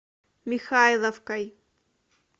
михайловкой